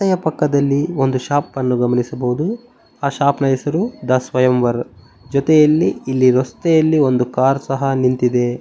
ಪಕ್ಕದಲ್ಲಿ ಒಂದು ಶಾಪ ನ್ನು ಗಮನಿಸಬಹುದು ಆ ಶಾಪ ನ ಹೆಸರು ದಾ ಸ್ವಯಂವರ್ ಜೊತೆಯಲ್ಲಿ ಇಲ್ಲಿ ರಸ್ತೆಯಲ್ಲಿ ಒಂದು ಕಾರ್ ಸಹ ನಿಂತಿದೆ.